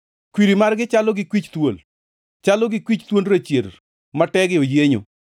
Kwiri margi chalo gi kwich thuol, chalo gi kwich thuond rachier ma tege oyienyo,